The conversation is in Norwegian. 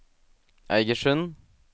Eigersund